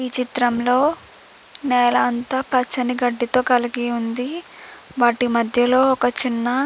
ఈ చిత్రంలో నేల అంతా పచ్చని గడ్డితో ఉంది. వాటి మధ్యలో ఒక చిన్న --